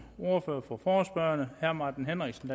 ordfører for forespørgerne herre martin henriksen